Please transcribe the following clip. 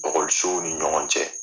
Ɔkɔlisow ni ɲɔgɔn cɛ.